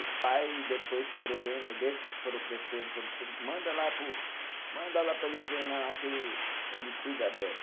Os pai depois foram vendo, desses que foram crescendo, manda lá para o, manda lá para ele treinar lá que ele ele cuida bem.